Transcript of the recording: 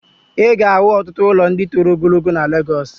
I ga-ahụ ọtụtụ ụlọ ndị toro ogologo na Legọs.